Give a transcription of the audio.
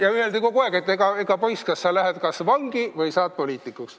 Ja öeldi kogu aeg, et poiss, kas sa lähed vangi või saad poliitikuks.